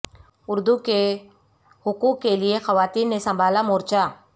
اردو کے حقوق کے لئے خواتین نے سنبھالا مورچہ